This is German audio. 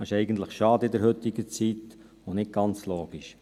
Dies ist in der heutigen Zeit eigentlich schade und nicht ganz logisch.